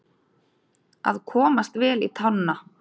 Að komast vel í tána